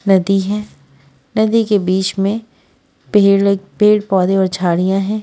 नदी है नदी के बीच में पेड़ पेड़ पौधे और झाड़ियां है।